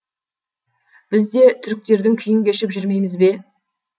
біз де түріктердің күйін кешіп жүрмейміз бе